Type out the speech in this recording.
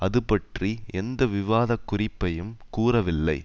அதுபற்றி எந்த விவாதக் குறிப்பையும் கூறவில்லை